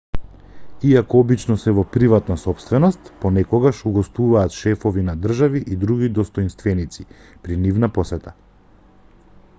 иако обично се во приватна сопственост понекогаш угостуваат шефови на држави и други достоинственици при нивна посета